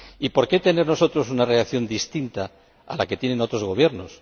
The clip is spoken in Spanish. ¿Por qué tener nosotros una reacción distinta a la que tienen otros Gobiernos?